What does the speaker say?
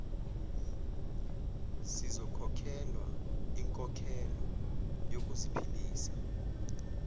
siyokhokhelwa inkokhelo yokuziphilisa